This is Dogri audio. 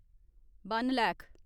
वन लैक्ख